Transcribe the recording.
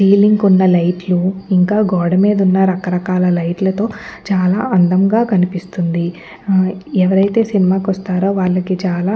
Ceiling కున్న లైట్లు ఇంకా గోడ కు ఉన్న రకరకాల లైట్ లతో చాలా అందంగా కనిపిస్తుంది. ఎవరైతే సినిమా కి వస్తారో వాళ్ళకి చాలా --